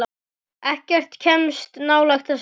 Ekkert kemst nálægt þessari viku.